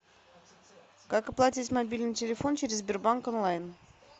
как оплатить мобильный телефон через сбербанк онлайн